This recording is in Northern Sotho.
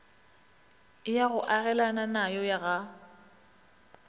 ya go agelana nayo ga